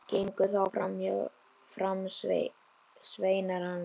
Gengu þá fram sveinar hans.